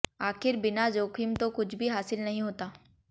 आखिर बिना जोखिम तो कुछ भी हासिल नहीं होता